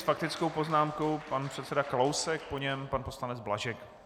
S faktickou poznámkou pan předseda Kalousek, po něm pan poslanec Blažek.